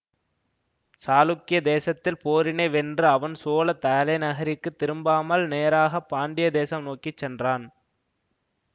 சாளுக்கிய தேசத்தில் போரினை வென்று அவன் சோழ தலைநகரிற்கு திரும்பாமல் நேராக பாண்டிய தேசம் நோக்கி சென்றான்